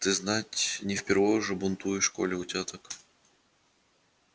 ты знать не впервой уже бунтуешь коли у тебя так